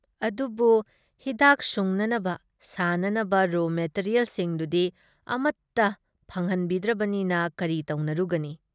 ꯑꯗꯨꯕꯨ ꯍꯤꯗꯥꯛ ꯁꯨꯡꯅꯅꯕ ꯁꯥꯅꯅꯕ ꯔꯣ ꯃꯦꯇꯤꯔꯤꯌꯦꯜꯁꯤꯡꯗꯨꯗꯤ ꯑꯃꯠꯇ ꯐꯪꯍꯟꯕꯤꯗ꯭ꯔꯕꯅꯤꯅ ꯀꯔꯤ ꯇꯧꯅꯔꯨꯒꯅꯤ?